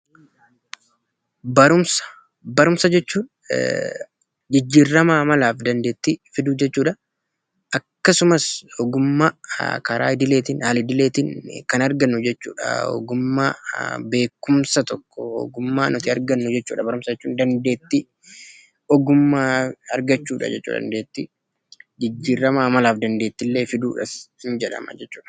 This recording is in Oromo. Barumsa Barumsa jechuun jijjiirama amalaa fi dandeettii fiduu jechuudha akkasumas ogummaa karaa idileetiin, karaa al-idileetiin jechuudha kan argannu ogummaa beekumsa tokkoo kan nuti argannu fedha barumsa, ogummaa argachuudha jechuudha dandeettii amalaa fi dandeettii fiduus illee ni jedhama.